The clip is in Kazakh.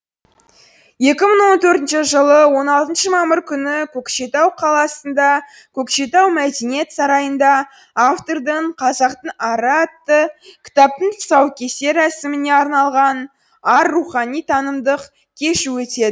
екі мың он төртінші жылы он алтыншы мамыр күні көкшетау қаласында көкшетау мәдениет сарайында автордың қазақтың ары атты кітаптың тұсаукесер рәсіміне арналған ар рухани танымдық кеші өтеді